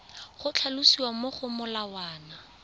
go tlhalosiwa mo go molawana